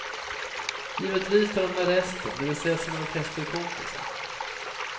Givetvis tar han med resten, det vill säga sina orkesterkompisar.